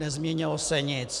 Nezměnilo se nic.